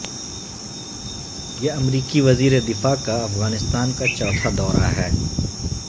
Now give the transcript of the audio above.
یہ امریکی وزیر دفاع کا افغانستان کا چوتھا دورہ ہے